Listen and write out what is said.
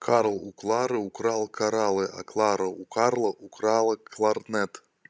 карл у клары украл кораллы а клара у карла украла кларнет